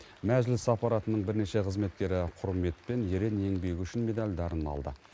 мәжіліс аппаратының бірнеше қызметкері құрмет пен ерен еңбегі үшін медальдарын алды